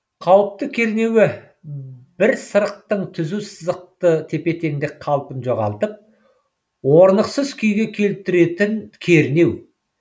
қауіпті кернеуі бір сырықтың түзу сызықты тепе теңдік қалпын жоғалтып орнықсыз күйге келтіретін кернеу